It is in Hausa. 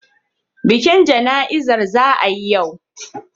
Bikin jana'izar ya yi yawa.